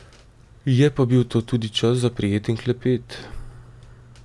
Je pa bil to tudi čas za prijeten klepet.